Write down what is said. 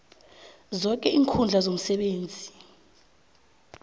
zoke iinkhundla zomsebenzi